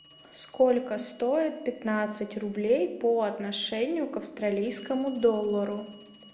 сколько стоит пятнадцать рублей по отношению к австралийскому доллару